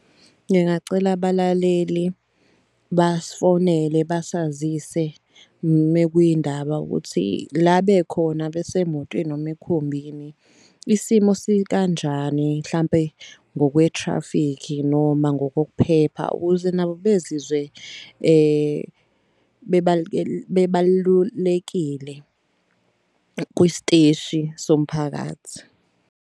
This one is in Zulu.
Ngingacela abalaleli basifonele basazise mekuyindaba ukuthi la bekhona besemotweni noma emkhumbini isimo sikanjani. Hlampe ngokwe-taffic noma ngokokuphepha ukuze nabo bezizwe bebalulekile kwisiteshi somphakathi.